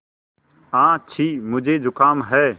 आछि मुझे ज़ुकाम है